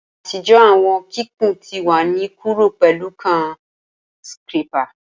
Atijọ awọn kikun ti wa ni kuro pẹlu kan scrapper.